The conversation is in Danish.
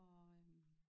Og øh